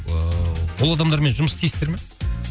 ыыы ол адамдармен жұмыс істейсіздер ме